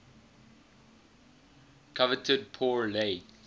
coveted pour le